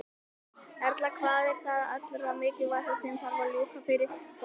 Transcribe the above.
Erla: Hvað er það allra mikilvægasta sem að þarf að ljúka fyrir kosningar?